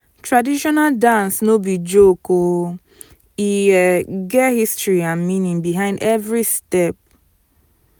traditional dance no be joke um e um get history and meaning behind every step.